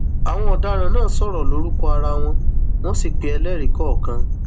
àwọn ọdaràn náà sọrọ lórúkọ ara wọn wọn sì pe ẹlẹrìí kọọkan